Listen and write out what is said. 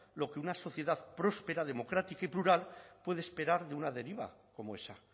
lo que una sociedad próspera democrática y plural puede esperar de una deriva como esa